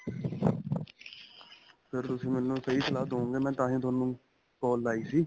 ਫ਼ੇਰ ਤੁਸੀਂ ਮੈਨੂੰ ਸਹੀਂ ਸਲਾਹ ਦਵੋਗੇ ਮੈਂ ਤਾਂਹੀ ਤੁਹਾਨੂੰ call ਲਾਈ ਸੀ